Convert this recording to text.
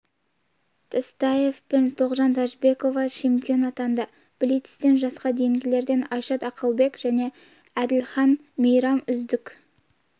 тастеев пен тоғжан тәжібекова чемпион атанды блицтен жасқа дейінгілерден айшат ақылбек пен әділхан мейрам үздік